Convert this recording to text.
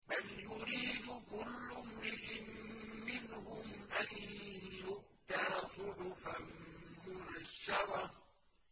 بَلْ يُرِيدُ كُلُّ امْرِئٍ مِّنْهُمْ أَن يُؤْتَىٰ صُحُفًا مُّنَشَّرَةً